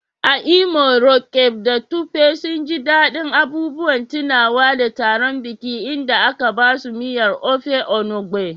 A Imo, Roqeeb da Tope sun ji daɗin abubuwan tunawa da taron biki inda aka basu miyar Ofe Enugbe.